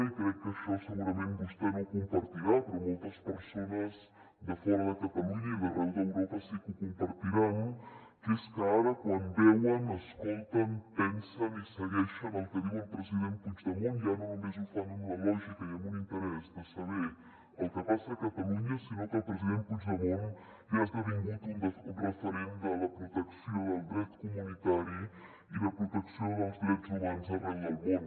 i crec que això segurament vostè no ho compartirà però moltes persones de fora de catalunya i d’arreu d’europa sí que ho compartiran que és que ara quan veuen escolten pensen i segueixen el que diu el president puigdemont ja no només ho fan amb una lògica i amb un interès de saber el que passa a catalunya sinó que el president puigdemont ja ha esdevingut un referent de la protecció del dret comunitari i de protecció dels drets humans arreu del món